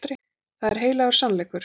Það er heilagur sannleikur.